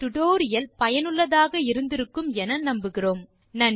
இந்த டியூட்டோரியல் ஐ ரசித்திருப்பீர்கள் மற்றும் பயனுள்ளதாக இருக்கும் என நம்புகிறோம்